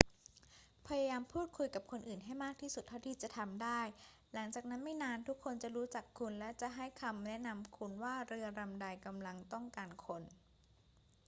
พยายามพูดคุยกับคนอื่นให้มากที่สุดเท่าที่จะทำได้ หลังจากนั้นไม่นานทุกคนจะรู้จักคุณและจะให้คำแนะนำคุณว่าเรือลำใดกำลังต้องการคน